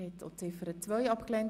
Sie haben auch Ziffer 2 abgelehnt.